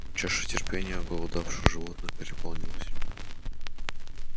чаша терпения оголодавших животных переполнилась